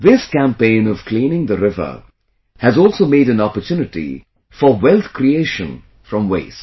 This campaign of cleaning the river has also made an opportunity for wealth creation from waste